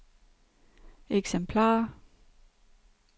eksemplarer